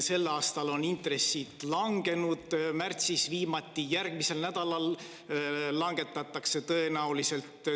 Sel aastal on intressid langenud, märtsis langesid viimati, ka järgmisel nädalal neid tõenäoliselt langetatakse.